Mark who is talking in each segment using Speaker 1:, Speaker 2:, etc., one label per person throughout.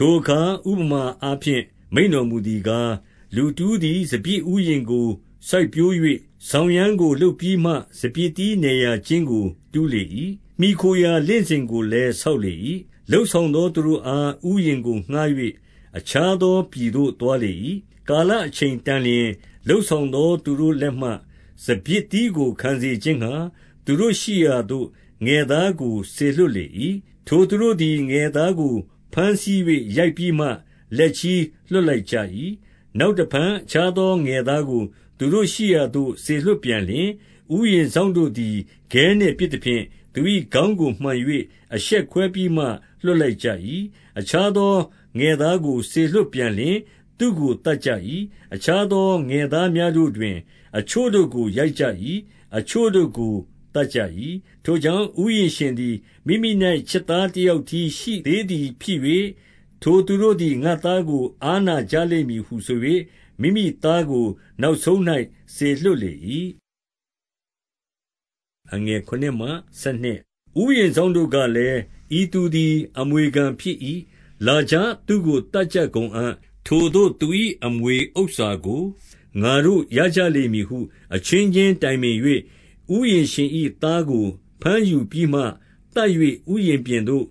Speaker 1: ထိုအခါ ဥပမာအားဖြင့် မိန့်တော်မူသည်ကား၊ လူတဦးသည် စပျစ်ဥယျာဉ်ကိုစိုက်ပျိုး၍၊ စောင်ရန်းကို လုပ်ပြီးမှ စပျစ်သီးနယ်ရာကျင်းကိုတူးလေ၏။ မှီခိုရာ လင့်စင်ကိုလည်းဆောက်လေ၏။ လုပ်ဆောင်သောသူတို့ အား ဥယျာဉ်ကိုငှါး၍၊ အခြားသောပြည်သို့သွားလေ၏။ 2 ကာလအချိန်တန်လျှင်၊ လုပ်ဆောင်သောသူတို့ လက်မှ စပျစ်သီးကိုခံစေခြင်းငှါ သူတို့ရှိရာသို့ ငယ်သားကို စေလွှတ်လေ၏။ 3 ထိုသူသည် ငယ်သားကိုဘမ်းဆီး၍ ရိုက်ပြီးမှ လက်ချည်းလွှတ်လိုက်ကြ၏။ 4 နောက်တဖန်အခြားသော ငယ်သားကိုသူတို့ရှိရာသို့ စေလွှတ်ပြန်လျှင်၊ ဥယျာဉ်စောင့်တို့သည် ခဲနှင့်ပစ် သဖြင့်၊ သူ၏ခေါင်းကိုမှန်၍ အယှက်ခွဲပြီးမှ လွှတ်ချလိုက်ကြ၏။ 5 အခြားသောသူငယ်သားကို စေလွှတ်ပြန်လျှင်၊ သူ့ကိုသတ်ကြ၏။ အခြားသောငယ်သားများတို့တွင် အချို့ကိုရိုက်ကြ၏။ အချို့တို့ကိုသတ်ကြ၏။ 6 ထိုကြောင့်ဥယျာဉ်ရှင်သည် မိမိ၌ချစ်သားတယောက်တည်းရှိသေးသည်ဖြစ်၍၊ ထိုသူတို့သည် ငါ့သားကို အားနာကြလိမ့်မည်ဟုဆို၍ မိမိသားကို နောက်ဆုံး၌ စေလွှတ်လေ၏။ 7 ဥယျာဉ်စောင့်တို့ကလည်း၊ ဤသူသည် အမွေခံဖြစ်၏။ လာကြ၊ သူ့ကို သတ်ကြကုန်အံ့။ ထိုသို့ သူ၏ အမွေဥစ္စာကို ငါတို့ရကြလိမ့်မည်ဟု အချင်းချင်းတိုင်ပင်၍၊ 8 ဥယျာဉ်ရှင်၏သားကို ဘမ်းယူပြီးမှသတ်၍ ဥယျာဉ်ပြင်သို့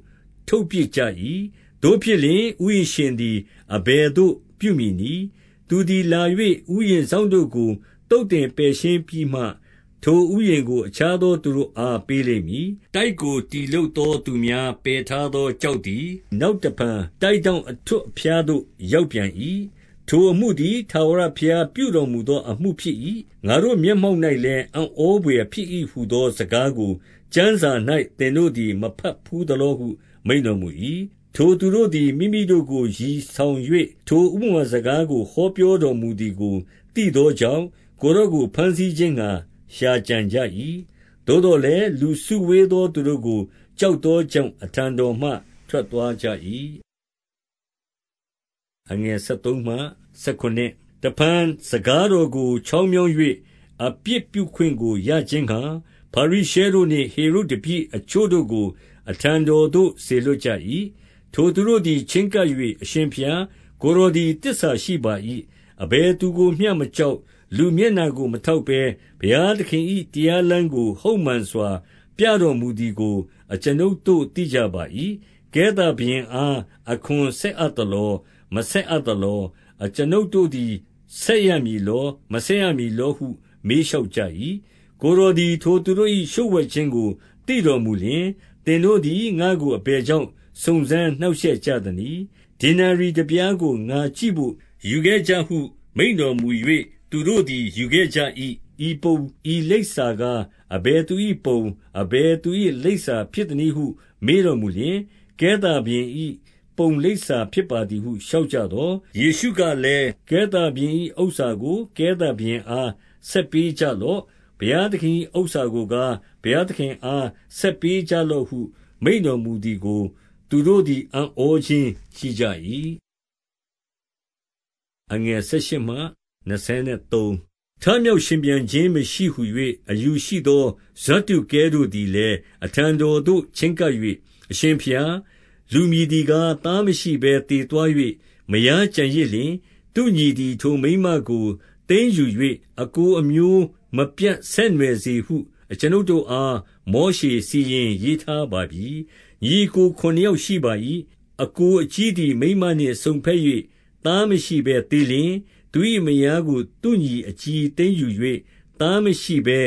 Speaker 1: ထုတ်ပစ်ကြ၏။ 9 သို့ဖြစ်လျှင်၊ ဥယျာဉ်ရှင်သည် အဘယ်သို့ပြုမည်နည်း၊ သူသည်လာ၍ ဥယျာဉ်စောင့်တို့ကို သုတ်သင် ပယ်ရှင်းပြီးမှ ထိုဥယျာဉ်ကို အခြားသောသူတို့အား ပေးလိမ့်မည်။ 10 တိုက်ကိုတည်လုပ်သောသူများ ပယ်ထားသောကျောက်သည် နောက်တဖန်တိုက်ထောင့် အထွဋ်အဖျား သို့ ရောက်ပြန်၏။ ထိုအမှုသည် ထာဝရဘုရားပြုတော်မူသောအမှုဖြစ်၏။ 11 ငါတို့မျက်မှောက်၌လည်း၊ အံ့ဩဘွယ်ဖြစ်၏ဟူသောစကားကိုကျမ်းစာ၌ သင်တို့သည် မဘတ်ဘူး သလောဟု မိန့်တော်မူ၏။ 12 ထိုသူတို့သည် မိမိတို့ကိုရည်ဆောင်၍ ထိုဥပမာစကားကို ဟောပြောတော်မူသည်ကို သိသောကြောင့်၊ ကိုယ်တော်ကို ဘမ်းဆီးခြင်းငှါ ရှာကြံကြ၏။ သို့သော်လည်း စုဝေးသောသူတို့ကို ကြောက်သောကြောင့် အထံ တော်မှ ထွက်သွားကြ၏။ 13 တဖန်စကားကို ချောင်းမြောင်း၍ အပြစ်ပြုခွင့်ကိုရခြင်းငှါ ဖာရိရှဲတို့နှင့် ဟေရုဒ်တပည့်အချို့တို့ကို အထံတော်သို့စေလွှတ်ကြ၏။ 14 ထိုသူတို့သည် ချည်းကပ်၍၊ အရှင်ဘုရား၊ ကိုယ်တော်သည်သစ္စာရှိပါ၏။ အဘယ်သူကိုမျှမကြောက်၊ လူမျက်နှာကိုထောက်ဘဲ ဘုရားသခင်၏တရားလမ်းကို ဟုတ်မှန်စွာပြတော်မူသည်ကို အကျွန်ုပ်တို့သိကြပါ၏။ ကဲသာဘုရင်အား အခွန်ဆက်အပ်သလော၊ မဆက်အပ်သလော။ 15 အကျွန်ုပ်တို့သည် ဆက်ရမည်လော၊ မဆက်ရမည်လောဟု မေးလျှောက်ကြ၏။ ကိုယ်တော်သည် ထို သူတို့၏လျှိုဝှက်ခြင်းကို သိတော်မူလျှင်၊ သင်တို့သည် ငါ့ကိုအဘယ်ကြောင့် စုံစမ်းနှောင့်ယှက်ကြသနည်း။ ဒေနာရိတပြားကို ငါကြည့်ဘို့ ယူခဲ့ကြဟု မိန့်တော်မူ၍၊ 16 သူတို့သည်ယူခဲ့ကြ၏။ ဤပုံ၊ ဤလိပ်စာကားအဘယ်သူ၏ပုံ၊ အဘယ်သူ၏လိပ်စာဖြစ်သနည်းဟု မေး တော်မူလျှင်၊ ကဲသာဘုရင်၏ပုံ၊ လိပ်စာဖြစ်ပါသည်ဟု လျှောက်ကြသော်၊ 17 ယေရှုကလည်း၊ ကဲသာဘုရင်၏ဥစ္စာကို ကဲသာဘုရင်အား ဆက်ပေးကြလော့။ ဘုရားသခင်၏ဥစ္စာကို ကား၊ ဘုရားသခင်အားဆက်ပေးကြလော့ဟု မိန့်တော်မူသည်ကို သူတို့သည် အံ့ဩခြင်းရှိကြ၏။ 18 ထမြောက်ရှင်ပြန်ခြင်းမရှိဟူ၍ အယူရှိသော ဇဒ္ဒုကဲတို့သည်လည်း အထံတော်သို့ချည်းကပ်၍၊ 19 အရှင်ဘုရား၊ လူမည်သည်ကား သားမရှိဘဲ သေသွား၍ မယားကျန်ရစ်လျှင်၊ သူ့ညီသည် ထိုမိန်းမကို သိမ်းယူ၍ အစ်ကိုအမျိုးမပြတ်ဆက်နွှယ်စေဟု အကျွန်ုပ်တို့အား မောရှေစီရင်ရေးထားပါပြီ။ 20 ညီအစ်ကိုခုနှစ်ယောက်ရှိပါ၏။ အစ်ကိုအကြီးသည် မိန်းမနှင့်စုံဘက်၍ သားမရှိဘဲသေလျှင်၊ 21 သူ၏မယာကိုသူ့ညီအကြီးသိမ်းယူ၍ သားမရှိဘဲ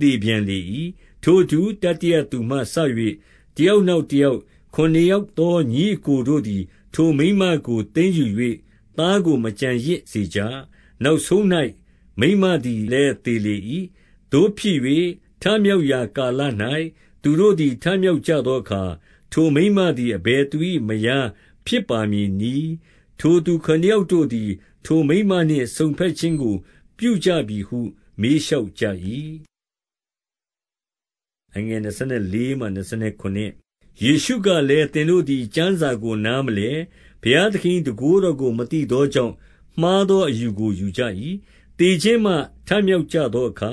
Speaker 1: သေပြန်လေ၏။ 22 ထို့အတူ တတိယသူမှစ၍ တယောက်နောက်တယောက် ခုနစ်ယောက်သောညီအစ်ကိုတို့သည် ထို မိန်းမကိုသိမ်းယူ၍ သားကိုမကျန်ရစ်စေကြ။ နောက်ဆုံး၌ မိန်းမသည်လည်းသေလေ၏။ 23 သို့ဖြစ်၍ ထမြောက်ရာကာလ၌ သူတို့သည်ထမြောက်ကြသောအခါ ထိုမိန်းမသည် အဘယ်သူ၏ မယားဖြစ်ပါမည်နည်း။ ထိုခုနစ်ယောက်တို့သည် ထိုမိန်းမနှင့် စုံဘက်ခြင်းကို ပြုကြပြီဟု မေးလျှောက်ကြ၏။ 24 ယေရှုကလည်း၊ သင်တို့သည်ကျမ်းစာကို နားမလည်၊ ဘုရားသခင်၏တန်ခိုးတော်ကို မသိသောကြောင့် မှားသောအယူကို ယူကြ၏။ 25 သေခြင်းမှ ထမြောက်သောအခါ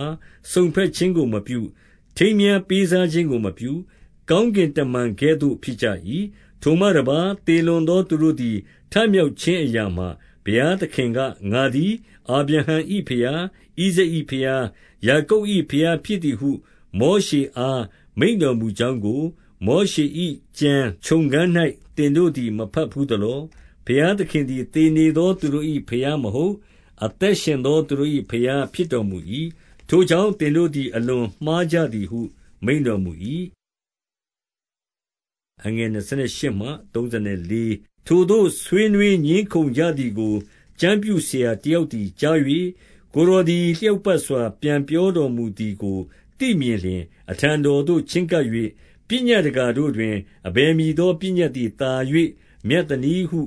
Speaker 1: စုံဘက်ခြင်းကိုမပြု၊ ထိမ်းမြားပေးစားခြင်းကိုမပြု၊ ကောင်းကင်တမန် ကဲ့သို့ ဖြစ်ကြ၏။ 26 ထိုမှတပါး သေလွန်သောသူတို့သည် ထမြောက်ခြင်းအရာမှာ၊ ဘုရားသခင်က ငါသည် အာဗြဟံ၏ ဘုရား၊ ဣဇာက်၏ဘုရား၊ ယာကုပ်၏ဘုရားဖြစ်သည်ဟု မောရှေအား မိန့်တော်မူကြောင်းကို မောရှေ၏ကျမ်း၊ ချုံခဏ်၌ သင်တို့သည် မဘတ်ဘူးသလော။ 27 ဘုရားသခင်သည် သေနေသောသူတို့၏ဘုရားမဟုတ်၊ အသက်ရှင်သောသူတို့၏ ဘုရားဖြစ်တော်မူ၏။ ထိုကြောင့် သင်တို့သည် အလွန်မှားကြသည်ဟု မိန့်တော်မူ၏။ 28 ထိုသို့ ဆွေးနွေးငြင်းခုံကြသည်ကို ကျမ်းပြုဆရာတယောက်သည်ကြား၍၊ ကိုယ်တော်သည် လျောက် ပတ်စွာ ပြန်ပြောတော်မူသည်ကိုသိမြင်လျှင် အထံတော်သို့ချဉ်းကပ်၍၊ ပညတ်တကာတို့တွင် အဘယ်မည်သော ပညတ်သည်သာ၍မြတ်သနည်းဟု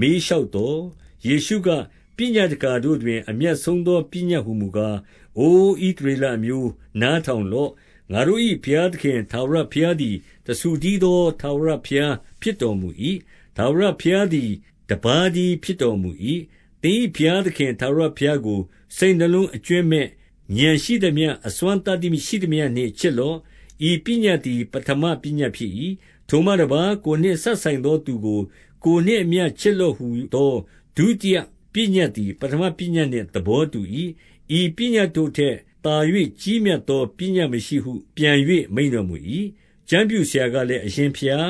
Speaker 1: မေးလျှောက်သော်၊ 29 ယေရှုက၊ ပညတ်တကာတို့တွင် အမြတ်ဆုံးသောပညတ်ဟူမူကား၊ အိုဣသရေလအမျိုး၊ နားထောင် လော့။ ငါတို့၏ဘုရားသခင်ထာဝရဘုရားသည် တဆူတည်းသော ထာဝရဘုရားဖြစ်တော်မူ၏။ ထာဝရဘရား သည် တပါးတည်းဖြစ်တော်မူ၏။ 30 သင်၏ဘုရားသခင် ထာဝရဘုရားကို စိတ်နှလုံးအကြွင်းမဲ့၊ ဥာဏ်ရှိသမျှ၊ အစွမ်းသတ္တိရှိသမျှနှင့် ချစ်လော့။ ဤပညတ်သည် ပဌမပညတ်ဖြစ်၏။ 31 ထိုမှတပါး ကိုယ်နှင့်စပ်ဆိုင်သောသူကို ကိုယ်နှင့်အမျှချစ်လော့ဟူသော ဒုတိယပညတ်သည် ပဌမ ပညတ် နှင့်သဘောတူ၏။ ဤပညတ်တို့ထက်သာ၍ကြီးမြတ်သော ပညတ်မရှိဟုပြန်၍ မိန့်တော်မူ၏။ 32 ကျမ်းပြုဆရာကလည်း၊ အရှင်ဘုရား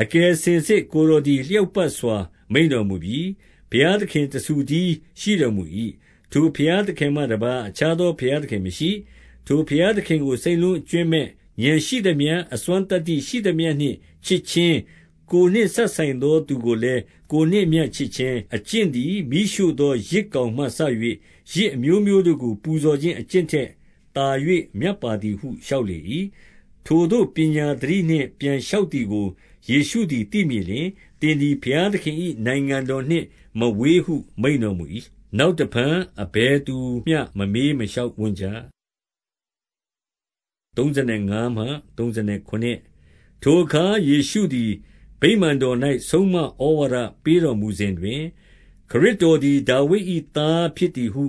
Speaker 1: ၊ အကယ်စင်စစ် ကိုယ်တော်သည် လျောက်ပတ်စွာမိန့်တော်မူပြီ။ ဘုရားသခင်တဆူတည်းရှိတော်မူ၏။ 33 ထိုဘုရားသခင်မှတပါး အခြားသောဘုရားသခင်မရှိ။ ထိုဘုရားသခင်ကို စိတ်နှလုံးအကြွင်းမဲ့၊ ဥာဏ် ရှိသမျှ၊ အစွမ်းသတ္တရှိသမျှနှင့် ချစ်ခြင်း၊ ကိုယ်နှင့်စပ်ဆိုင်သောသူကိုလည်း၊ ကိုယ်နှင့်အမျှ ချစ်ခြင်းအကျင့်သည် မီးရှို့သောယဇ်ကောင်မှ၍ ယဇ်အမျိုးမျိုးတို့ကို ပူဇော်ခြင်းအကျင့်ထက်သာ၍ မြတ်ပါသည်ဟု လျှောက်လေ၏။ 34 ထိုသို့ ပညာသတိနှင့်ပြန်လျှောက်သည်ကို ယေရှုသည်သိမြင်လျှင်၊ သင်သည်ဘုရားသခင်၏ နိုင်ငံ တော်နှင့်မဝေးဟု မိန့်တော်မူ၏။ နောက်တဖန် အဘယ်သူမျှ မမေးမလျှောက်ဝံ့ကြ။ 35 ထိုအခါယေရှုသည် ဗိမာန်တော်၌ ဆုံးမဩဝါဒပေးတော်မူစဉ်တွင်၊ ခရစ်တော်သည် ဒါဝိဒ်၏သား ဖြစ်သည်ဟု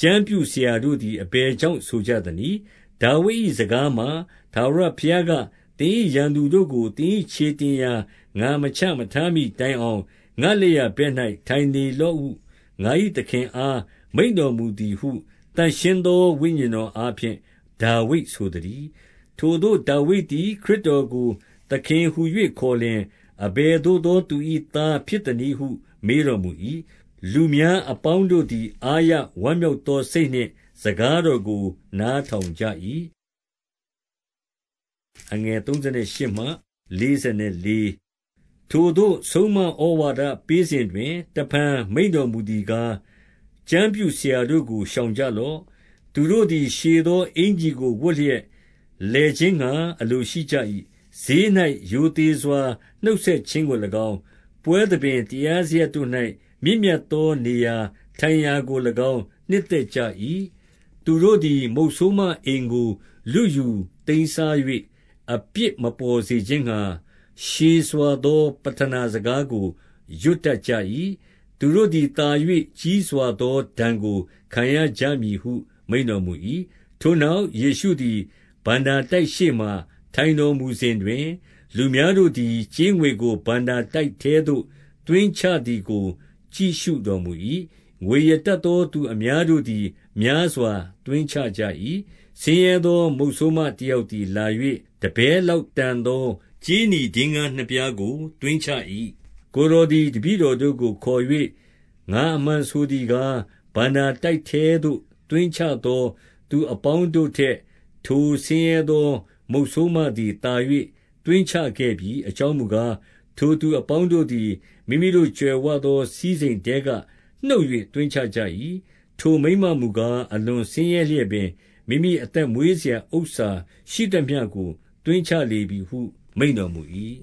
Speaker 1: ကျမ်းပြုဆရာတို့သည် အဘယ်ကြောင့် ဆိုကြသနည်း။ 36 ဒါဝိဒ်၏စကားမှာ၊ ထာဝရဘုရားက၊ သင်၏ ရန်သူတို့ကို သင်၏ခြေတင်ရာ ငါမချမထားမှီတိုင်အောင် ငါ့လက်ျာဘက်၌ ထိုင်နေလော့ဟု ငါ၏သခင်အား မိန့်တော်မူသည်ဟု သန့်ရှင်းသောဝိညာဉ်တော်အားဖြင့် ဒါဝိဒ်ဆိုသတည်း။ 37 ထိုသို့ ဒါဝိဒ်သည် ခရစ်တော်ကိုသခင်ဟူ၍ ခေါ်လျှင် အဘယ်သို့သူ၏သားဖြစ်သနည်းဟု မေးတော် မူ၏။ လူများအပေါင်းတို့သည် အားရဝမ်းမြောက်သောစိတ်နှင့် စကားတော်ကို နားထောင်ကြ၏။ 38 ထိုသို့ဆုံးမဩဝါဒပေးစဉ်တွင် တဖန်မိန့်တော်မူသည်ကား၊ ကျမ်းပြုဆရာတို့ကို ရှောင်ကြလော့။ သူတို့ သည် ရှည်သောအင်္ကျီကိုဝတ်လျက် လည်ခြင်းငှါအလိုရှိကြ၏။ ဈေး၌ရိုသေစွာ နှုတ်ဆက်ခြင်းကို၎င်း၊ 39 ပွဲသဘင်။ တရားစရပ်တို့၌ မြင့်မြတ်သောနေရာထိုင်ရာကို၎င်း နှစ်သက်ကြ၏။ 40 သူတို့သည် မုတ်ဆိုးမအိမ်ကို လုယူသိမ်းစား၍ အပြစ်မပေါ်စေခြင်းငှါ ရှည်စွာသော ပဌနာစကားကို ရွတ်တတ်ကြ၏။ သူတို့သည် သာ၍ကြီးစွာသောဒဏ်ကို ခံရကြမည်ဟု မိန့်တော်မူ၏။ 41 ထိုနောက်ယေရှုသည် ဘဏ္ဍာတိုက်ရှေ့မှာ ထိုင်တော်မူစဉ်တွင်၊ လူများတို့သည် ကြေးငွေကို ဘဏ္ဍာ တိုက်ထဲသို့ သွင်းချသည်ကို ကြည့်ရှုတော်မူ၏။ ငွေရတတ်သော သူအများတို့သည် များစွာသွင်းချကြ၏။ 42 ဆင်းရဲသော မုတ်ဆိုးမတယောက်သည်လာ၍ တပဲလောက်တန်သောကြေးနီဒင်္ဂါးနှစ်ပြားကို သွင်းချ၏။ 43 ကိုယ်တော်သည် တပည့်တော်တို့ကိုခေါ်၍ ငါမှန်ဆိုသည်ကား၊ ဘဏ္ဍာတိုက်ထဲသို့ သွင်းချသော သူ အပေါင်းတို့ထက် ထိုဆင်းရဲသားမုတ်ဆိုးမသည်သာ၍ သွင်းချခဲ့ပြီ။ 44 အကြောင်းမူကား၊ ထိုသူအပေါင်းတို့သည် မိမိတို့ကြွယ်ဝသော စည်းစိမ်ထဲကနှုတ်၍သွင်းချကြ၏။ ထို မိန်းမမူကားအလွန်ဆင်းရဲလျက်ပင်၊ မိမိအသက် မွေးစရာဥစ္စာရှိသမျှကို သွင်းချလေပြီဟုမိန့်တော်မူ၏။